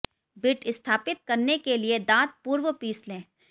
bit स्थापित करने के लिए दांत पूर्व पीस लें